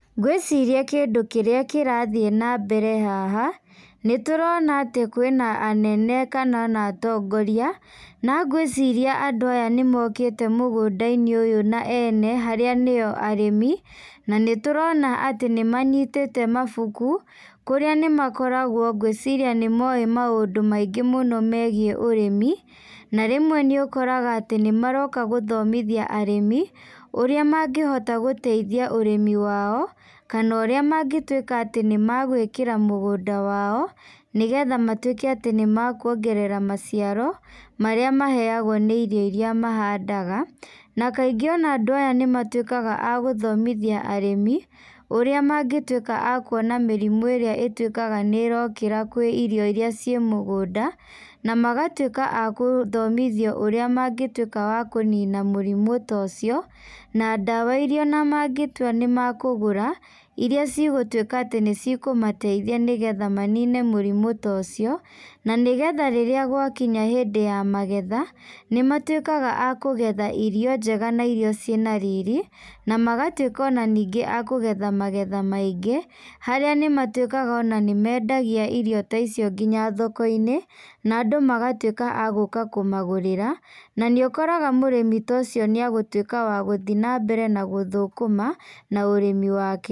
Ngwĩciria kĩndũ kĩrathiĩ na mbere haha nĩtũrona atĩ kwĩ na anene kana ona atongoria na ngwĩciria andũ aya nĩ mokĩte mũgũnda-inĩ ũyũ na ene harĩa niyo ageni na nĩtũrona atĩ nĩmanyitĩte mabuku kũrĩa nĩmakoragwo ngwĩciria nĩ moĩ maũndu maingĩ mũno megiĩ ũrĩmi na rĩmwe nĩũkoraga nĩmaroka gũthomithia arĩmi ũrĩa mangĩhota gũteithia ũrĩmi wao kana ũrĩa mangĩtwĩka atĩ nĩmagwĩkĩra mũgũnda wao nĩgetha matwĩke atĩ nĩmakuongerera maciaro marĩa maheagwo nĩ ino iria mahandaga na kaingĩ ona andũ aya nĩmatwĩkaga agũthomithia arĩmi ũrĩa mangĩtwĩka a kuona mĩrimũ ĩrĩa ĩtwĩkaga nĩrokĩra kwĩ irio iria ci mũgunda na magatwĩka a kũthomithio ũrĩa mangĩtwĩka a kũnina mũrimũ ta ũcio na ndawa iria mangetũa nĩ makũgũra iria cigũtwĩka atĩ nĩ ci kũmateithia nĩgetha manine mũrimũ ta ũcio na nĩgetha rĩrĩa gwakinya hĩndĩ ya magetha nĩ matwĩkaga a kũgetha irio njega na irio ci na riri ona magatwĩka ona ningĩ akũgetha magetha maingĩ harĩa nĩmatwĩkaga ona nĩ mendagia irio ta icio nginya thoko-inĩ na andũ magatwika a gũka kũmagũrĩra na nĩ ũkoraga mũrĩmi ta ũcio nĩagũtuĩka wa gũthiĩ na mbere na gũthũkũma na ũrĩmi wake.